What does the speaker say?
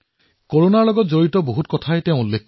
কৰোনাৰ সৈতে জড়িত বিভিন্ন কথা তেওঁ লিখিছে